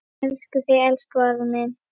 Elska þig, elsku afi minn.